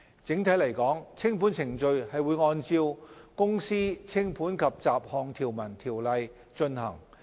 整體來說，清盤程序會按照《公司條例》進行。